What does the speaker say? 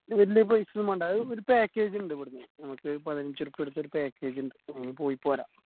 വലിയ paisa ഒന്നും വേണ്ട അതായത് ഒരു package ഇണ്ട് ഇവിടുന്ന് നമുക്ക് പതിനഞ്ചു ഉറുപ്പിയ കൊടുത്ത ഒരു package ഇണ്ട് ഉം പൊയ്‌പോരാ